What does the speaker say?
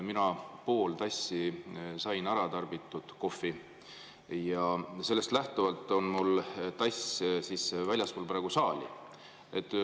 Mina sain pool tassi kohvi ära tarbitud ja sellest lähtuvalt on mul tass väljaspool saali.